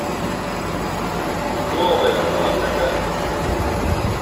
новая ладога